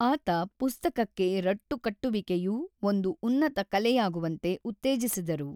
ಆತ ಪುಸ್ತಕಕ್ಕೆ ರಟ್ಟು ಕಟ್ಟುವಿಕೆಯು ಒಂದು ಉನ್ನತ ಕಲೆಯಾಗುವಂತೆ ಉತ್ತೇಜಿಸಿದರು.